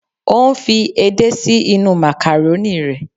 O ń fi edé sí inú màkàrónì rẹ